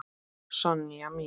Sonja mín.